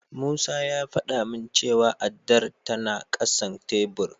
Musa ya faɗa min cewa addar tana ƙasan tebur.